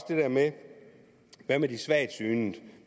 der med de svagtsynede